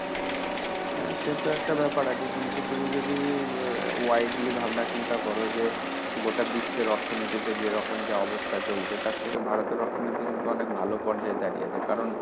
হ্যাঁ সেটা একটা ব্যাপার আছে। কিন্তু তুমি যদি widely ভাবনা চিন্তা করো যে গোটা বিশ্বের অর্থনীতিতে যেরকম যা অবস্থা চলছে তার থেকে ভারতের অর্থনীতি কিন্তু অনেক ভালো পর্যায়ে দাঁড়িয়ে আছে। কারণ,